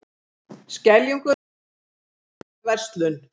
Skeljungur hættir við að loka verslun